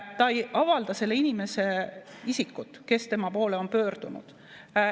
" Ta ei avalda selle inimese isikut, kes tema poole on pöördunud.